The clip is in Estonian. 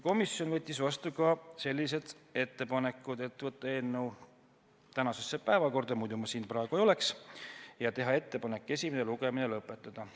Komisjon võttis vastu sellised ettepanekud: võtta eelnõu tänasesse päevakorda ja teha ettepanek esimene lugemine lõpetada.